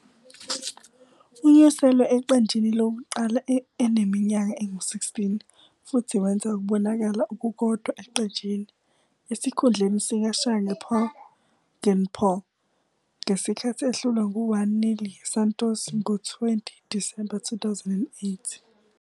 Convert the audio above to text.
Unyuselwe eqenjini lokuqala eneminyaka engu-16 futhi wenza ukubonakala okukodwa eqenjini, esikhundleni sikaShane Poggenpoel ngesikhathi ehlulwa ngo-1-0 yiSantos ngo-20 Disemba 2008.